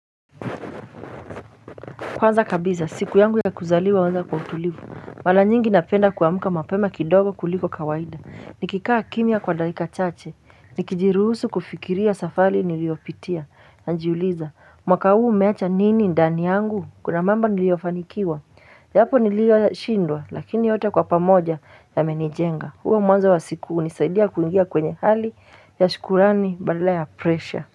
Kwanza kabisa siku yangu ya kuzaliwa huanza kwa utulivu. Mara nyingi napenda kuamka mapema kidogo kuliko kawaida, nikikaa kimya kwa dakika chache, nikijiruhusu kufikiria safari niliyopitia. Najiuliza mwaka huu umeacha nini ndani yangu, kuna mambo niliofanikiwa? Japo niliyoyashindwa lakini yote kwa pamoja yamenijenga. Huo mwanzo wa siku hunisaidia kuingia kwenye hali ya shukurani badala ya presha.